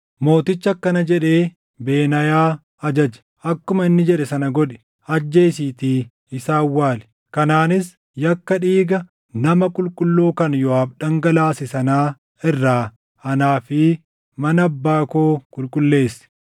Mootichi akkana jedhee Benaayaa ajaje; “Akkuma inni jedhe sana godhi; ajjeesiitii isa awwaali; kanaanis yakka dhiiga nama qulqulluu kan Yooʼaab dhangalaase sanaa irraa anaa fi mana abbaa koo qulqulleessi.